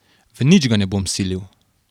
V nič ga ne bom silil.